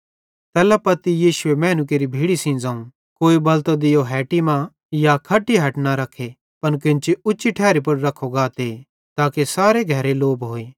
तैल्ला पत्ती यीशुए मैनू केरि भीड़ी सेइं ज़ोवं कोई बलतो दियो एन्तां हेटी मां या खट्टी हठ न रख्खे पन केन्ची उच्ची ठैरी पुड़ रख्खो गाते ताके सारे घरे लो भोए